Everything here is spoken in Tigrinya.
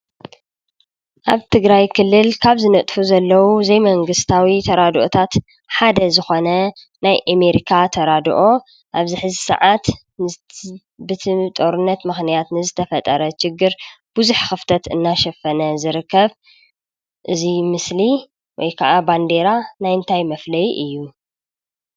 ኣብ ትግራይ ክልል ካብ ዝነጥፉ ዘለው ዘይ መንግስታዊ ተራድኦታት ሓደ ዝኾነ ናይ ኤሜሪካ ተራድኦ ኣብዚ ሕዚ ስዓት ብእቲ ጦርነት ምኽንያት ንዝተፈጠረ ችግር ቡዝሕ ኽፍተት እናሸፈነ ዝርከብ ፡፡እዚ ምስሊ ወይ ክዓ ባንዴራ ናይ እንታይ መፍለዪ እዩ ?